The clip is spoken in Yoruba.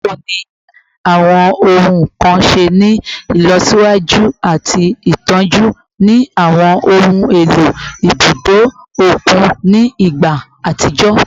Bawo ni awọn ohun kan ṣe ni ilọsiwaju ati itọju ni awọn ohun elo ibudo okun ni igba atijọ?